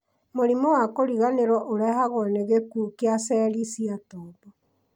mũrimũ wa kũriganĩrwo ũrehagwo nĩ gĩkuũ kĩa ceri cia tombo